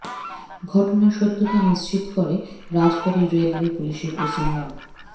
ঘটনার সত্যতা নিশ্চিত করে রাজবাড়ী রেলওয়ে পুলিশের ওসি মো